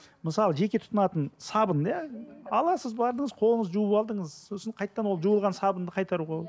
мысалы жеке тұтынатын сабын иә аласыз бардыңыз қолыңызды жуып алдыңыз сосын қайтадан ол жуылған сабынды қайтаруға